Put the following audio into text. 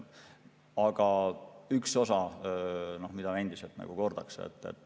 Aga on üks asi, mida endiselt kordaks.